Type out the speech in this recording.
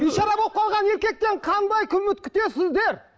бейшара болып қалған еркектен қандай үміт күтесіздер